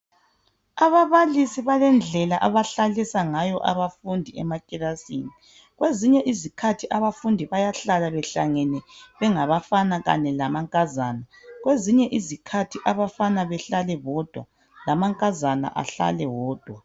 Ababalisi balendlela abahlalisa ngayo abafundi emakilasini. Kwezinye izikhathi bayahlala behlangene bengabafana lamankazana. Kwezinye izikhathi abafana behlale bodwa lamankazana ehlale wodwa.